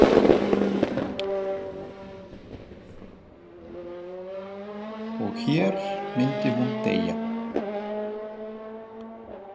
Og hér myndi hún deyja.